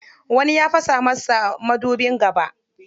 Wani ya fasa masa madubin gaba.